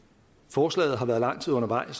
forslaget har været lang tid undervejs er